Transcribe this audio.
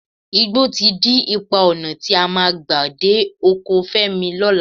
Igbó ti dí ipa ọnà tí a máa gbà dé oko Fẹ́mi lọ́la